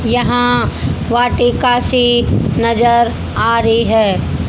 यहां वाटिका सी नजर आ रही है।